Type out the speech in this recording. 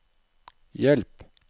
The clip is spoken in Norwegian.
hjelp